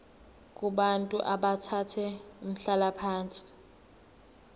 kubantu abathathe umhlalaphansi